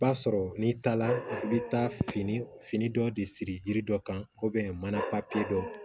B'a sɔrɔ n'i taara i bɛ taa fini fini dɔ de siri yiri dɔ kan mana dɔ